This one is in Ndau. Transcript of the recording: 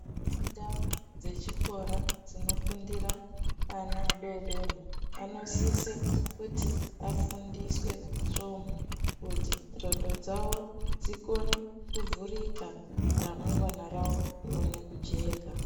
Ndau dzechikora dzinofundira ana adodori anosise kuti afundiswe svomhu kuti ndxondo dzawo dzikone kuvhurika. Ramangwana rawo rione kujeka.